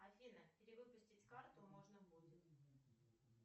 афина перевыпустить карту можно будет